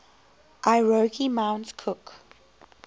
aoraki mount cook